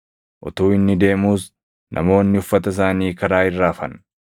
Utuu inni deemuus namoonni uffata isaanii karaa irra afan.